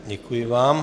Děkuji vám.